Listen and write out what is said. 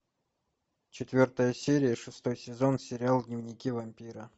четвертая серия шестой сезон сериал дневники вампира